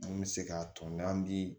An bɛ se k'a tɔn n'an bi